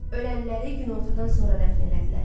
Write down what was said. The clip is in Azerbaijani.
Ölənləri günortadan sonra dəfn elədilər.